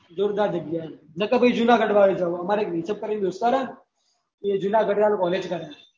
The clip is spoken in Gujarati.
જોરદાર જગ્યા એ નાય તો ભાઈ જૂનાજડ માં આયી જવાનું અમારે એક you tube પર દોસતારે તો એ જુનાગઢ મે college કરે